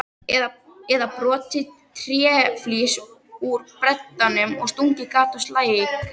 Eða brotið tréflís úr beddanum og stungið gat á slagæð?